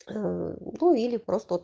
в углу или просто